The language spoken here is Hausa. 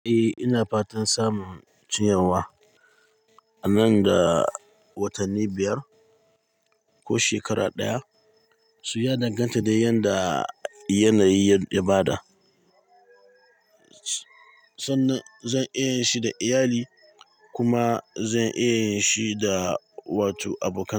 Eh ina fatan samun ciyarwa a nan da watanni biyar ko shekara ɗaya. So ya danganta dai yadda yanayi ya bada. Sannan zan iya yin shi da iyali kuma zan iya yin shi da wato abokan.